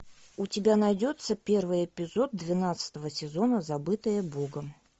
у тебя найдется первый эпизод двенадцатого сезона забытые богом